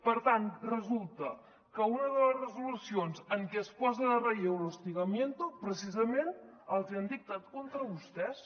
per tant resulta que una de les resolucions en què es posa en relleu l’hostigamiento precisament els hi han dictat contra vostès